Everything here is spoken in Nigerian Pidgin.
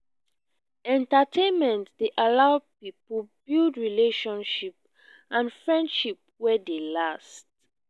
entertainment dey allow pipo build relationship and friendship wey dey last